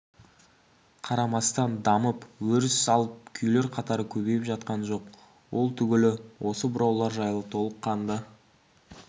қарамастан дамып өріс алып күйлер қатары көбейіп жатқан жоқ ол түгілі осы бұраулар жайлы толыққанды